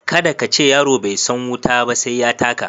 Kada ka ce "yaro bai san wuta ba sai ya taka".